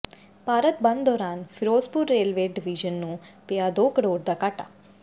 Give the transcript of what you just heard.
ਭਾਰਤ ਬੰਦ ਦੌਰਾਨ Firozpur railway division ਨੂੰ ਪਿਆ ਦੋ ਕਰੋੜ ਦਾ ਘਾਟਾ